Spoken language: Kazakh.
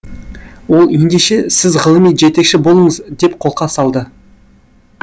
ол ендеше сіз ғылыми жетекші болыңыз деп қолқа салды